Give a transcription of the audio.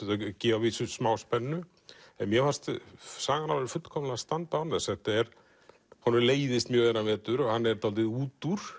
gefa að vísu smá spennu en mér fannst sagan fullkomlega standa án þess honum leiðist mjög þennan vetur hann er dálítið út úr